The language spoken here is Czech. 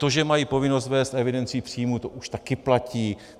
To, že mají povinnost vést evidenci příjmů, to už taky platí.